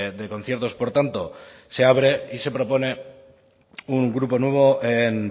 de conciertos por tanto se abre y se propone un grupo nuevo en